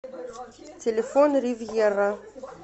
телефон ривьера